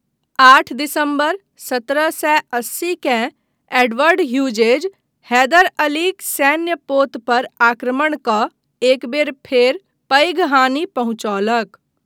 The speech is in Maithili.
आठ दिसम्बर सत्रह सए अस्सी केँ एडवर्ड ह्यूजेज हैदर अलीक सैन्य पोत पर आक्रमण कऽ एक बेर फेर पैघ हानि पहुँचौलक।